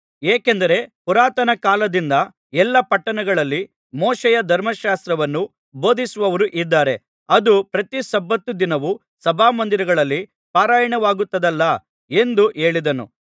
ಏಕೆಂದರೆ ಪುರಾತನಕಾಲದಿಂದ ಎಲ್ಲಾ ಪಟ್ಟಣಗಳಲ್ಲಿ ಮೋಶೆಯ ಧರ್ಮಶಾಸ್ತ್ರವನ್ನು ಬೋಧಿಸುವವರು ಇದ್ದಾರೆ ಅದು ಪ್ರತಿ ಸಬ್ಬತ್ ದಿನವೂ ಸಭಾಮಂದಿರಗಳಲ್ಲಿ ಪಾರಾಯಣವಾಗುತ್ತದಲ್ಲಾ ಎಂದು ಹೇಳಿದನು